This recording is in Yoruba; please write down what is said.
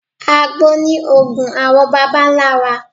Àgbo ni òògùn àwọn bàbá ńlá wa.